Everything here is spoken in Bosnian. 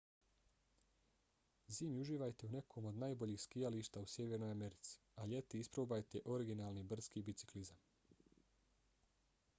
zimi uživajte u nekom od najboljih skijališta u sjevernoj americi a ljeti isprobajte originalni brdski biciklizam